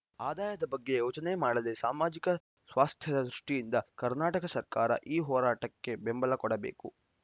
ಆದಾಯದ ಬಗ್ಗೆ ಯೋಚನೆ ಮಾಡದೇ ಸಾಮಾಜಿಕ ಸ್ವಾಸ್ಥ್ಯದ ದೃಷ್ಟಿಯಿಂದ ಕರ್ನಾಟಕ ಸರ್ಕಾರ ಈ ಹೋರಾಟಕ್ಕೆ ಬೆಂಬಲ ಕೊಡಬೇಕು